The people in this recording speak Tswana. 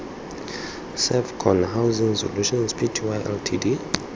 servcon housing solutions pty ltd